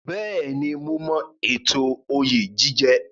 Bẹ́ẹ̀ni, mo mọ ètò oyè jíjẹ.